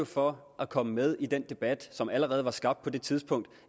for at komme med i den debat som allerede var skabt på det tidspunkt